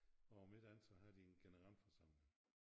Og om ikke andet så har de en generalforsamling